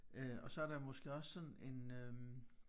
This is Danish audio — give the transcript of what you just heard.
Øh og så der måske også sådan en øh